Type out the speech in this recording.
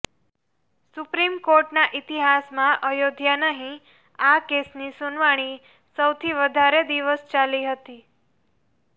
supreme કોર્ટના ઇતિહાસમાં અયોધ્યા નહીં આ કેસની સુનાવણી સૌથી વધારે દિવસ ચાલી હતી